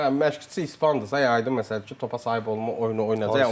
Hə, məşqçisi ispandırsa, aydın məsələdir ki, topa sahib olma oyunu oynayacaq.